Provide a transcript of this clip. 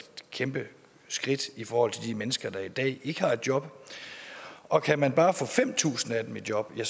kæmpe skridt i forhold til de mennesker der i dag ikke har et job og kan man bare få fem tusind af dem i job er